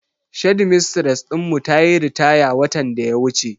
Shedmistres din mu tayi ritaya watan daya wuce.